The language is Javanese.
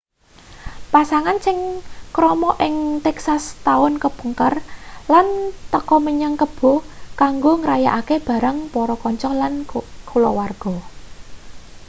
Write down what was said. pasangan sing krama ing texas setaun kepungkur lan teka menyang kebo kanggo ngrayakake bareng para kanca lan kaluwarga